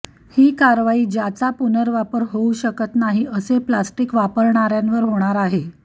ही कारवाई ज्याचा पुर्नवापर होऊ शकत नाही असे प्लास्टिक वापरणाऱ्यांवर होणार आहे